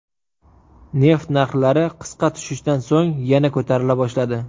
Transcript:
Neft narxlari qisqa tushishdan so‘ng yana ko‘tarila boshladi.